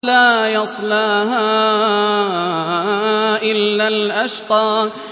لَا يَصْلَاهَا إِلَّا الْأَشْقَى